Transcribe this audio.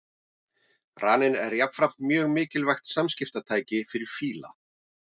Raninn er jafnframt mjög mikilvægt samskiptatæki fyrir fíla.